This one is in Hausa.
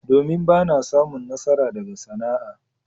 Domin! Ba na samun nasara daga sana'a.